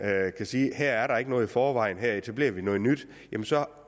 kan sige her er der ikke noget i forvejen her etablerer vi noget nyt og så